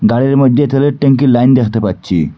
গাড়ির মইদ্যে তেলের ট্যাঙ্কির লাইন দেখতে পাচ্ছি।